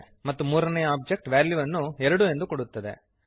ಮತ್ತು ಮೂರನೆಯ ಒಬ್ಜೆಕ್ಟ್ ವ್ಯಾಲ್ಯುವನ್ನು 2 ಎಂದು ಕೊಡುತ್ತದೆ